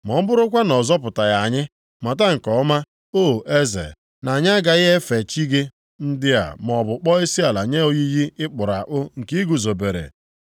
Ma ọ bụrụkwa na ọ zọpụtaghị anyị, mata nke ọma, o eze, na anyị agaghị efe chi gị ndị a maọbụ kpọọ isiala nye oyiyi a ị kpụrụ akpụ nke ị guzobere.”